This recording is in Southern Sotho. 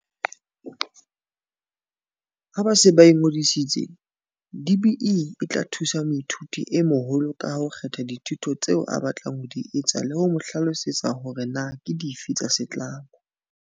Ha ba se ba ingodisitse, DBE e tla thusa moithuti e moholo kang ho kgetha dithuto tseo a batlang ho di etsa le ho mo hlalosetsa hore na ke dife tsa setlamo.